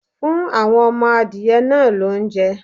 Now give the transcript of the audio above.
Fún àwọn ọmọ adìyẹ náà lóúnjẹ!